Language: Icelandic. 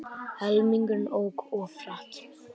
Helmingurinn ók of hratt